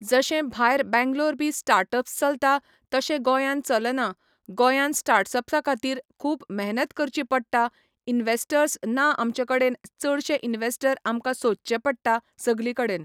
जशें भायर बेंगलोर बी स्टार्टअप्स चलता तशें गोयान चलना गोयान स्टार्टअप्सा खातीर खूब मेहनत करची पडटा इनवेस्टर्स ना आमचे कडेन चडशे इनवेस्टर आमकां सोदचे पडटा सगली कडेन